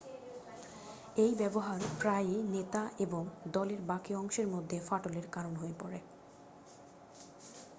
এই ব্যাবহার প্রায়ই নেতা এবং দলের বাকি অংশের মধ্যে ফাটলের কারন হয়ে পড়ে